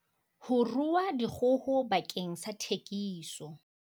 Ho rua dikgoho bakeng sa thekiso